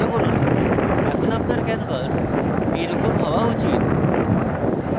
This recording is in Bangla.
এখন আপনার canvas এই রকম হওয়া উচিত